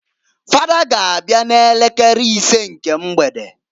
Fada g' abịa n'elekere isee nke mgbede.